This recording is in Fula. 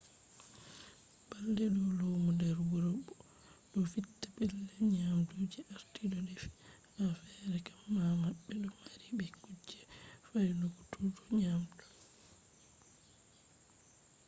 balɗe ɗo lumo nder wuro ɗo vitta pellel nyamdu je arti ɗo defi. ha fere kam ma ɓe ɗo mari be kuje fyaunutuggo nyamdu